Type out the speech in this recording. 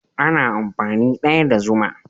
Ana amfani daya da zuma.